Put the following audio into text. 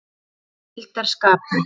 Hann mildar skap mitt.